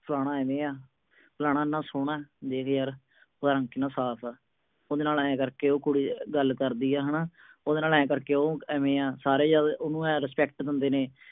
ਫਲਾਨਾ ਇਵੇਂ ਆ। ਫਲਾਨਾ ਇੰਨਾ ਸੋਹਣਾ, ਦੇਖ ਯਾਰ। ਉਹਦਾ ਰੰਗ ਕਿੰਨਾ ਸਾਫ ਆ। ਉਹਦੇ ਨਾਲ ਆਏ ਕਰਕੇ ਉਹ ਕੁੜੀ ਗੱਲ ਕਰਦੀ ਆ, ਹਨਾ। ਉਹ ਐਵੇ ਆ, ਉਹਨੂੰ ਸਾਰੇ respect ਦਿੰਦੇ ਨੇ।